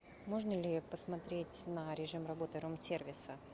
можно ли посмотреть на режим работы рум сервиса